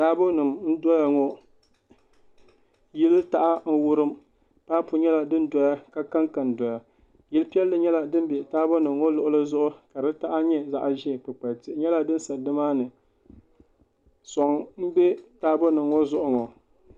Taabo nim n doya ŋɔ yili taha n wurim paapu nyɛla din doya ka kanka doya yili piɛlli nyɛla din bɛ taabo nim ŋɔ luɣuli zuɣu ka di taha nyɛ zaɣ ʒiɛ soŋ n bɛ taabo nim ŋɔ zuɣu